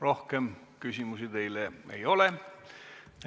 Rohkem küsimusi teile ei ole.